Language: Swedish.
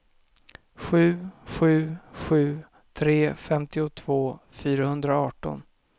sju sju sju tre femtiotvå fyrahundraarton